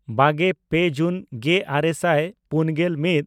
ᱵᱟᱜᱮᱼᱯᱮ ᱡᱩᱱ ᱜᱮᱼᱟᱨᱮ ᱥᱟᱭ ᱯᱩᱱᱜᱮᱞ ᱢᱤᱫ